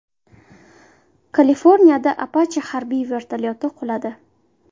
Kaliforniyada Apache harbiy vertolyoti quladi.